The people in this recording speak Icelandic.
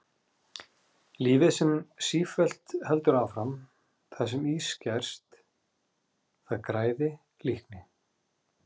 Lífið sem sífellt heldur áfram, hvað sem í skerst, það græði, líkni?